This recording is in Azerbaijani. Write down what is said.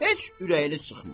Heç ürəyini çıxma.